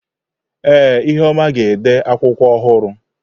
Ee, ihuoma ga-ede akwụkwọ ọhụrụ.